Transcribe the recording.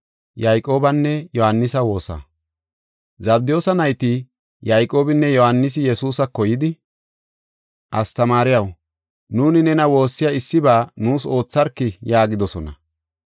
Zabdiyoosa nayti Yayqoobinne Yohaanisi Yesuusako yidi, “Astamaariyaw, nuuni nena woossiyaba ubbaa nuus oothana mela koyoos” yaagidosona.